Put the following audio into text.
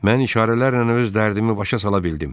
Mən işarələrlə öz dərdimi başa sala bildim.